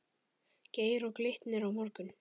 Geir Og Glitnir á morgun?